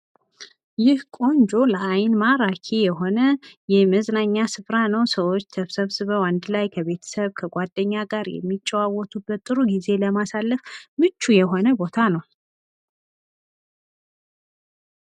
ይህ ቆንጆ ለአይን ማራኪ የሆነ የመዝናኛ ስፍራ ነው። ሰዎች ተሰብስበው አንድ ላይ ከቤተሰብ ከጓደኛ ጋር የሚጨዋወቱበት ጊዜ ለማሳለፍ የሆነ ቦታ ነው።